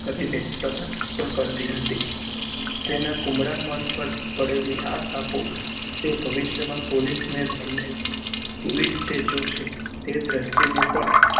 કરી ને સહત પણ કરતી હતી તેના કુમ્બ્ડા મન પર પડેલી આ છાપો તે ભવિષ્ય માં પોલીસ ના તે દ્રીશ્તીને પણ